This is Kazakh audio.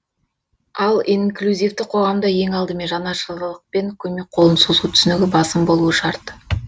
ал инклюзивті қоғамда ең алдымен жанашырлық пен көмек қолын созу түсінігі басым болуы шарт